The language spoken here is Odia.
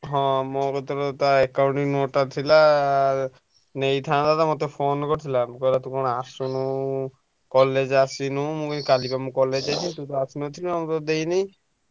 ହଁ ମୋ କତିରେ ତା Accounting note ଟା ଥିଲା ନେଇଥାନ୍ତା ତ phone କରିଥିଲା ମତେ କହିଲା ତୁ କଣ ଆସୁନୁ college ଆସିନୁ ମୁଁ କହିଲି କାଲି ତ ମୁଁ college ଯାଇଥିଲି ତୁ ତ ଆସିନଥିଲୁ ଆଉ ତତେ ଦେଇନାଇ ।